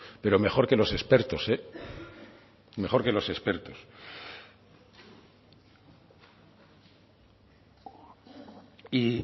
pero mejor que los expertos mejor que los expertos y